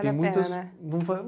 E muitas... Não vale a